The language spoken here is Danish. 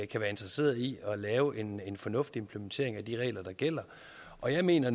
kan være interesseret i at lave en en fornuftig implementering af de regler der gælder og jeg mener